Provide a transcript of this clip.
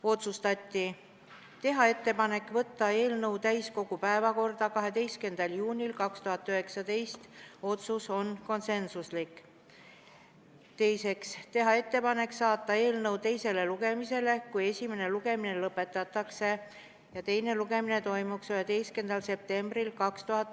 Otsustati teha ettepanek võtta eelnõu täiskogu 12. juuni istungi päevakorda ja saata eelnõu teisele lugemisele, kui esimene lugemine lõpetatakse, 11. septembriks.